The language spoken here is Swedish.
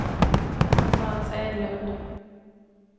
Frans Edlund